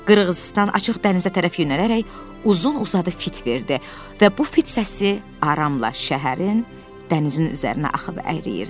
Qırğızıstan açıq dənizə tərəf yönələrək uzun-uzadı fit verdi və bu fit səsi aramla şəhərin, dənizin üzərinə axıb əriyirdi.